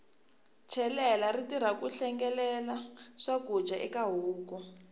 chelela ri tirha ku hlengelela swakudya eka huku